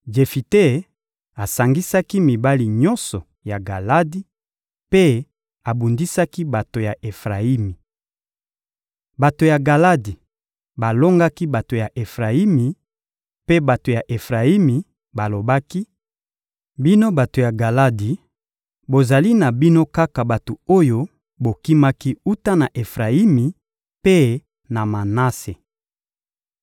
Jefite asangisaki mibali nyonso ya Galadi, mpe babundisaki bato ya Efrayimi. Bato ya Galadi balongaki bato ya Efrayimi; mpe bato ya Efrayimi balobaki: «Bino bato ya Galadi, bozali na bino kaka bato oyo bokimaki wuta na Efrayimi mpe na Manase.»